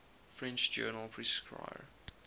french journal prescrire